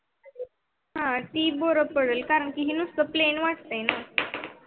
हा ते बर पडल कारण की ही निसत plain वाटतय.